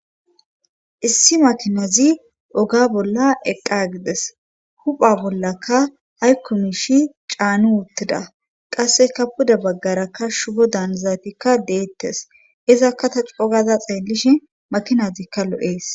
issi makinazi oga bolla eqqa gides hupha bollaka haykku miishi caanu wuttida qasseka puda baggarakka shubo daanizatikka deettes izakka ta cogaza xeellishi makinazikka lo7ees